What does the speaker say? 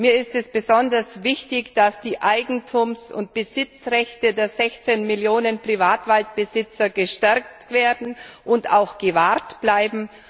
Mir ist es besonders wichtig, dass die Eigentums und Besitzrechte der 16 Millionen Privatwaldbesitzer gestärkt werden und auch gewahrt bleiben.